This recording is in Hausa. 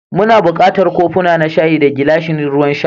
Muna buƙatar kofuna na shayi, da gilashin ruwan sha.